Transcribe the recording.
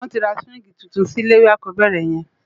Won ti ra siwingi túntún si ilé iwé ákòbèrè yèn